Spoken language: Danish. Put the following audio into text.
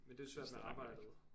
Men det jo svært med arbejdet